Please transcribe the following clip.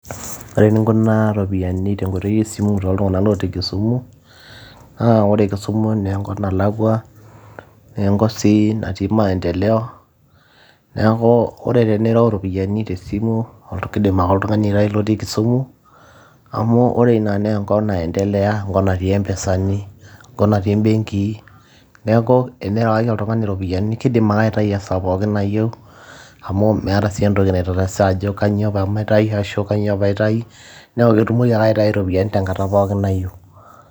ore eninkunaa iropiyiani tenkoitoi esimu too ltung'anak lotii kisumu naa ore kisumu naa enkop nalakua neenkop sii natii maendeleo neeku ore tenirew iropiyiani tesimu kidim ake oltung'ani aitai lotii kisumu amu ore ina naa enkop naendeleya enkop natii empisani enkop natii imbenkii neeku enirewaki oltung'ani iropiyiani kidim ake aitayu esaa pookin nayieu amu meeta sii entoki naitatasa ajo kanyio pamatai ashu kanyio paitai neeku ketumoki ake aitai iropiyiani tenkata pookin nayieu.